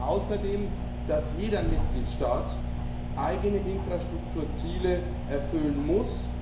Wir fordern außerdem, dass jeder Mitgliedstaat eigene Infrastrukturziele erfüllen muss.